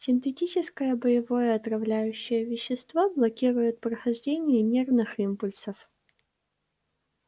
синтетическое боевое отравляющее вещество блокирует прохождение нервных импульсов